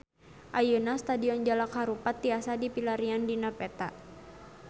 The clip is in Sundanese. Ayeuna Stadion Jalak Harupat tiasa dipilarian dina peta